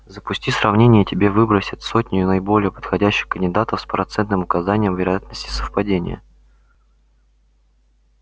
запусти сравнение и тебе выбросит сотню наиболее подходящих кандидатов с процентным указанием вероятности совпадения